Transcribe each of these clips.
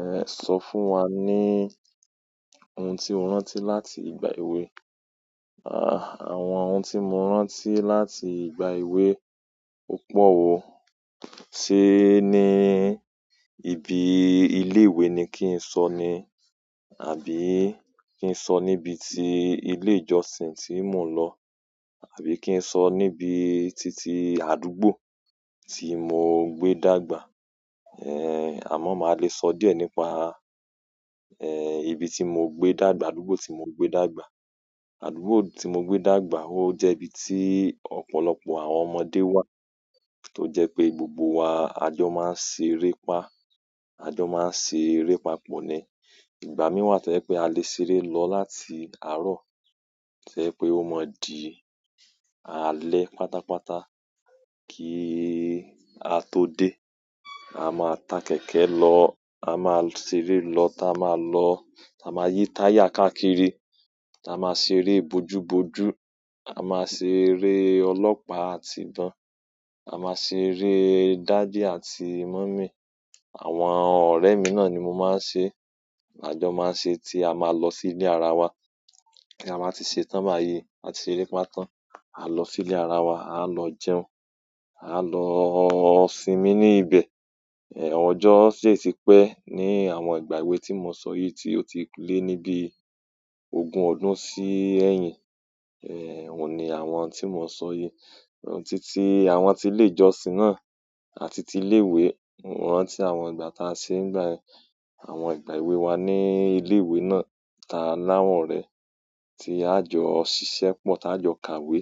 Ẹ sọ fún wa ní ohun tí o rántí láti ìgbà èwe. Ah, àwọn ohun tí mo rántí láti ìgbà èwe o pọ̀ wo. Ṣé ni ibi ilé ìwé ni kí n sọ ni? Àbí kí n sọ níbi ti ilé ìjọsìn tí mò ń lọ? Àbí kí n sọ níbi titi àdúgbò tí mò gbé dàgbà? Eh, àmọ́ màá le sọ díẹ̀ nípa, eh, ibi tí mò ń gbé dàgbà, àdúgbò tí mò ń gbé dàgbà. Àdúgbò tí mò gbé dàgbà, ó jẹ́ ibi tí ọ̀pọ̀lọpọ̀ àwọn ọmọdé wà, tó jẹ́ pé gbogbo wa, a jọ máa ń ṣe eré pá, a jọ máa ń ṣe eré papọ̀ ni. Ìgbà mí wà tó jẹ́ pé a lè ṣe eré lọ láti àárọ̀, tó jẹ́ pé ó mọ dí, alẹ́ pátápátá kí a tó dé. A máa ta kẹ̀kẹ́ lọ, a máa ṣe eré lọ, táa máa lọ, táa máa yí táyà káàkiri, táa máa ṣe eré bojúbojú, a máa ṣe eré ọlọ́pàá àti ìbọn, a máa ṣe eré dádì àti mọ̀mí. Àwọn ọ̀rẹ́ mi náà ni mo máa ń ṣe, a jọ máa ń ṣe tí a máa lọ sí ilé ara wa. Tí a bá ti ṣe tán bá yi, á ti ṣe eré pá tán, a lọ sí ilé ara wa, a lọ jẹun, a lọ sinmi ní ibẹ̀. Eh, ọjọ́ sì ti pẹ́ ní àwọn ìgbà èwe tí mo sọ yìí tí ó ti lé ní bí ogún ọdún sí ẹyin. Eh, òun ni àwọn ohun tí mo sọ yìí. Ohun titi àwọn tí ilé ìjọsìn náà àti ti ilé ìwé, òun ran ti àwọn ìgbà táa ṣe ń gbà yẹ, àwọn ìgbà èwe wa ní ilé ìwé náà táa láwọ̀rẹ́, tí a jọ ṣiṣẹ́ pọ̀, táa jọ kàwé,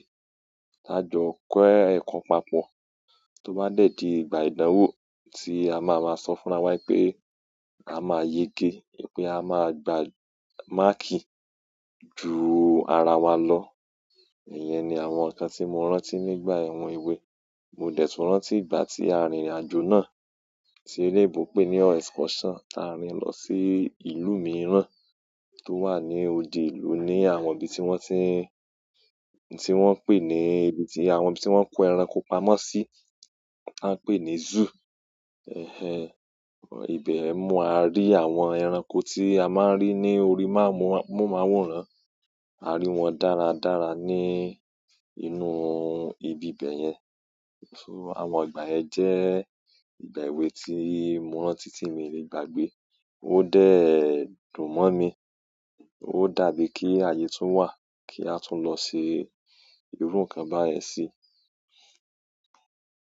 táa jọ kọ́ ẹ̀kọ́ papọ̀ tó bá dẹ̀dí ìgbà ìdánwò tí a máa máa sọ fúnra wa pé a máa yege, pé a máa gba máàkì ju ara wa lọ. Ìyẹn ni àwọn nǹkan tí mo rántí nígbà ẹ̀wọ̀n èwe. Mo dẹ̀tún rántí ìgbà tí a rìnrìnàjò náà tí eleyinbo pè ní excursion. A rìn lọ sí ìlú mìíràn tó wà ní òde ìlú ní àwọn ibi tí wọ́n ti ń, tí wọ́n pè ní ibi tí àwọn tí wọ́n kó ẹranko pamọ́ sí, wọ́n pè ní zoo. Ẹ̀hẹn, ìbẹ̀ mo á rí àwọn ẹranko tí a máa ń rí ní orí máa mú, mohun máa wòran. A rí wọn dára dára ní inú ibi bẹ̀ yẹn. So àwọn ìgbà ẹ jẹ́ ìgbà èwe tí mo rántí tí ì mi le gbàgbé. Ó dẹ́ dùn mọ́ mi. Ó dàbí kí ayé tún wà kí a tún lọ ṣe irú nǹkan bá yẹ̀ sí.